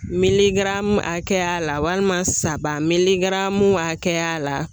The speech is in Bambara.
Miligaramu hakɛya la walima saba miligaramu hakɛya la